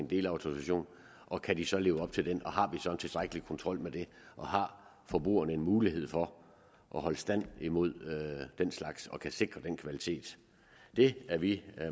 delautorisation og kan de så leve op til den og har vi så en tilstrækkelig kontrol med det og har forbrugerne en mulighed for at holde stand imod den slags og kan vi sikre kvaliteten det er vi